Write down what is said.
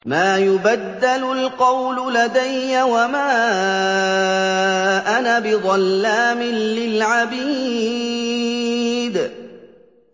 مَا يُبَدَّلُ الْقَوْلُ لَدَيَّ وَمَا أَنَا بِظَلَّامٍ لِّلْعَبِيدِ